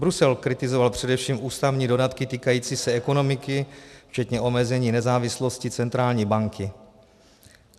Brusel kritizoval především ústavní dodatky týkající se ekonomiky včetně omezení nezávislosti centrální banky.